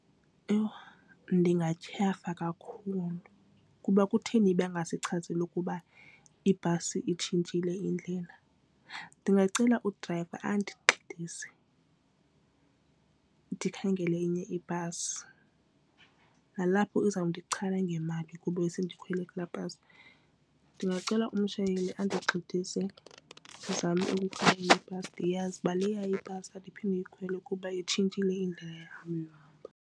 Yho ndingathyafa kakhulu kuba kutheni bengasichazeli ukuba ibhasi itshintshile indlela. Ndingacela udrayiva andigxidise ndikhangele enye ibhasi. Nalapho iza kundichaphazela ngemali kuba besendikhwele kula bhasi. Ndingacela umshayeleli andigxidise ndizame ukukhangela enye ibhasi ndiyazi uba leya ibhasi andiphinde ndiyikhwele kuba itshintshile indlela yam.